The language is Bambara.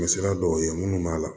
sira dɔw ye minnu b'a la